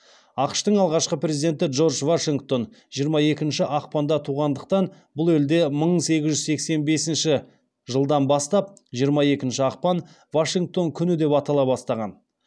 ақш тың алғашқы президенті джордж вашингтон жиырма екінші ақпанда туғандықтан бұл елде мың сегіз жүз сексен бесінші жылдан бастап жиырма екінші ақпан вашингтон күні деп атала бастаған